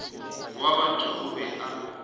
wa batho o be a